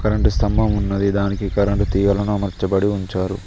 Current స్తంభం ఉన్నది దానికి కరెంటు తీగలను మార్చబడి ఉంచారు.